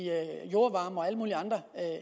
jordvarme og taget alle mulige andre